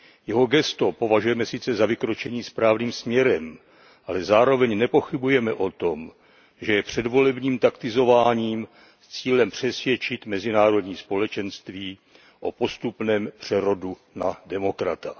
Jeho gesto považujeme sice za vykročení správným směrem, ale zároveň nepochybujeme o tom, že je předvolebním taktizováním s cílem přesvědčit mezinárodní společenství o postupném přerodu na demokrata.